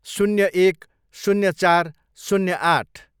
शून्य एक, शून्य चार, शून्य आठ